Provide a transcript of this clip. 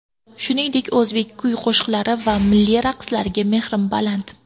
Shuningdek, o‘zbek kuy-qo‘shiqlari va milliy raqslariga mehrim baland.